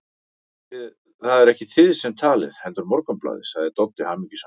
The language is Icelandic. Það eruð ekki þið sem talið, heldur Morgunblaðið, sagði Doddi hamingjusamur.